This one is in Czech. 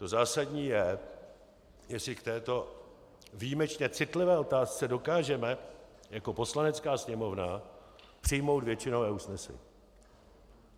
To zásadní je, jestli k této výjimečně citlivé otázce dokážeme jako Poslanecká sněmovna přijmout většinové usnesení.